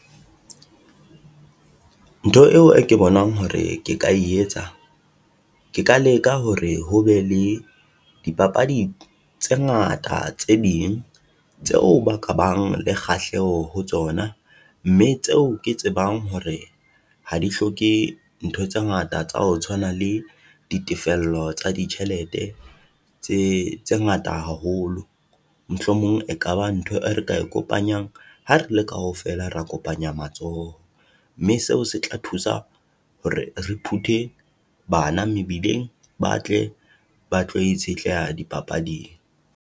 Ntho eo e ke bonang hore ke ka e yetsa, ke ka leka hore hobe le di papadi tse ngata, tse ding tseo ba ka bang le kgahleho ho tsona, mme tseo ke tsebang hore ha di hloke ntho tse ngata tsa ho tshwana le ditefello tsa ditjhelete tse ngata haholo. Mohlomong e kaba ntho e re ka e kopanyang ha re le kaofela, ra kopanya matsoho. Mme seo se tla thusa hore re phuthe bana mebileng, ba tle ba tlo itshetleha di papading.